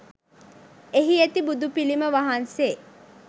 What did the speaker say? එහි ඇති බුදු පිළිම වහන්සේ